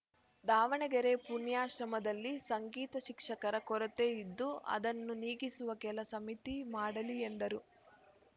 ದಾವಣಗೆರೆ ಪುಣ್ಯಾಶ್ರಮದದಲ್ಲಿ ಸಂಗೀತ ಶಿಕ್ಷಕರ ಕೊರತೆ ಇದ್ದು ಅದನ್ನು ನೀಗಿಸುವ ಕೆಲಸಮಿತಿ ಮಾಡಲಿ ಎಂದರು